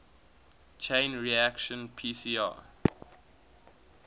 chain reaction pcr